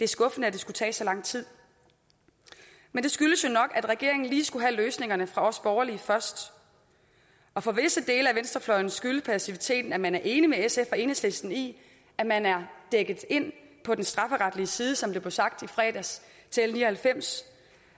skuffende at det skulle tage så lang tid men det skyldes jo nok at regeringen lige skulle have løsningerne fra os borgerlige først og for visse dele af venstrefløjen skyldes passiviteten at man er enig med sf og enhedslisten i at man er dækket ind på den strafferetlige side som det blev sagt i fredags til l ni og halvfems